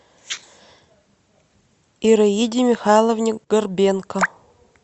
ираиде михайловне горбенко